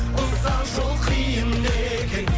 ұзақ жол қиын екен